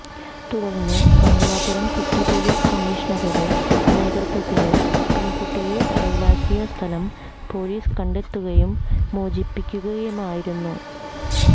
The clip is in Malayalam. തുടര്ന്ന് മംഗലാപുരം സിറ്റി പോലീസ് കമ്മീഷണറുടെ നേതൃത്വത്തില് പെണ്കുട്ടിയെ തടവിലാക്കിയ സ്ഥലം പോലീസ് കണ്ടെത്തുകയും മോചിപ്പിക്കുകയുമായിരുന്നു